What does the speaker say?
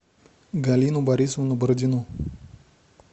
галину борисовну бородину